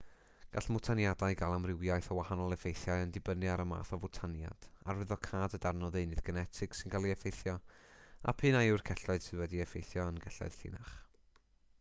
gall mwtaniadau gael amrywiaeth o wahanol effeithiau yn dibynnu ar y math o fwtaniad arwyddocâd y darn o ddeunydd genetig sy'n cael ei effeithio a p'un a yw'r celloedd sydd wedi'u heffeithio yn gelloedd llinach